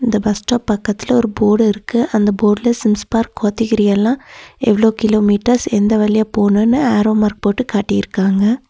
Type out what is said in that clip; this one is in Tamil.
இந்த பஸ் ஸ்டாப் பக்கத்துல ஒரு போர்டு இருக்கு அந்த போர்டுல ஜேம்ஸ் பார்க் கோத்தகிரி எல்லாம் எவ்வளவு கிலோமீட்டர்ஸ் எந்த வழியா போணும்னு ஏரோமார்க் போட்டு காட்டியிருக்காங்க.